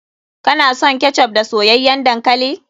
Kana son ketchup da soyayyan dankali?